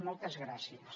moltes gràcies